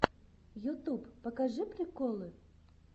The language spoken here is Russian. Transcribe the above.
ютуб покажи приколы